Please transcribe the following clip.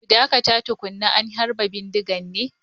Ku dakata tukuna an harba bindiga ne!